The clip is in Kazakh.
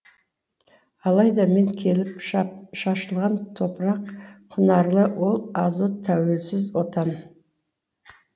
алайда мен келіп шашылған топырақ құнарлы ол азот тәуелсіз отан